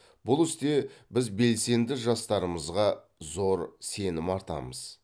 бұл істе біз белсенді жастарымызға зор сенім артамыз